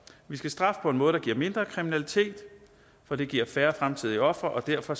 vi skal straffe på en måde der giver mindre kriminalitet for det giver færre fremtidige ofre og derfor